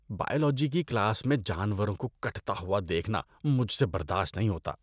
Biology کی class میں جانوروں کو کٹتا ہوا دیکھنا مجھ سے برداشت نہیں ہوتا۔